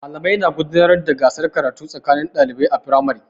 Malamai na gudanar da gasar karatu tsakanin ɗalibai a firamare.